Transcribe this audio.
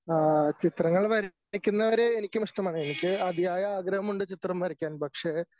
ആ ചിത്രങ്ങൾ വരക്കുന്നവരെ എനിക്കും ഇഷ്ടമാണ് എനിക്ക് അതിയായ ആഗ്രഹമുണ്ട് ചിത്രം വരയ്ക്കാൻ പക്ഷേ